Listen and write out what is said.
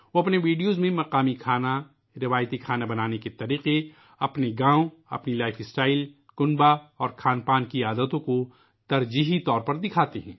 وہ اپنے ویڈیوز میں مقامی کھانے ، روایتی کھانے بنانے کے طریقے ، اپنے گاؤں ، اپنی طرز زندگی ، خاندان اور کھانے پینے کی عادتوں کو خاص طور سے دکھاتے ہیں